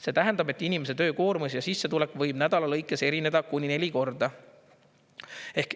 See tähendab, et inimese töökoormus ja sissetulek võib nädala lõikes erineda kuni neli korda.